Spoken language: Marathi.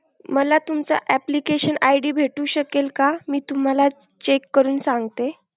मला तुमचा application ID भेटू शकेल का? मी तुम्हाला check करून सांगते.